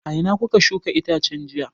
A ina kuka shuka itacen jiya?